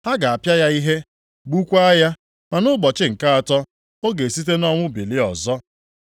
Ha ga-apịa ya ihe, gbukwaa ya; ma nʼụbọchị nke atọ, ọ ga-esite nʼọnwụ bilie ọzọ.”